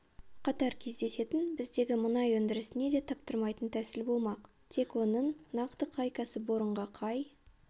қатар кездесетін біздегі мұнай өндірісіне де таптырмайтын тәсіл болмақ тек оның нақты қай кәсіпорынға қай